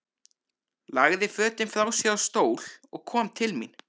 Lagði fötin frá sér á stól og kom til mín.